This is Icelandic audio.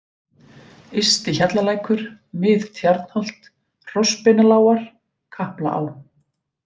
Ysti-Hjallalækur, Mið-Tjarnholt, Hrossbeinalágar, Kaplaá